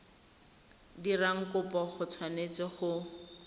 dirang kopo o tshwanetse go